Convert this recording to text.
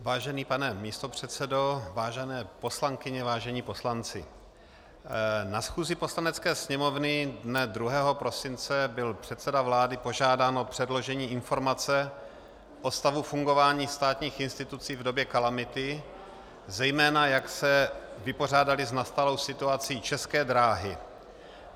Vážený pane místopředsedo, vážené poslankyně, vážení poslanci, na schůzi Poslanecké sněmovny dne 2. prosince byl předseda vlády požádán o předložení informace o stavu fungování státních institucí v době kalamity, zejména jak se vypořádaly s nastalou situací České dráhy.